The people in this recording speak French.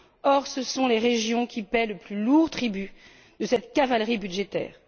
Or, ce sont les régions qui paient le plus lourd tribut de cette cavalerie budgétaire.